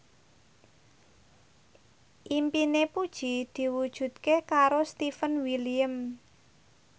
impine Puji diwujudke karo Stefan William